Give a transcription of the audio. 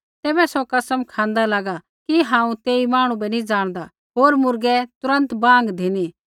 तैबै सौ कसम खाँदा लागा कि हांऊँ तेई मांहणु बै नी ज़ाणदा होर मुर्गै तुरन्त बाँग धिनी